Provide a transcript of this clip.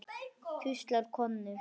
hvíslar Konni.